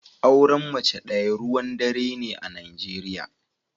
Auren mace daya ruwan dare ne a Najeriya.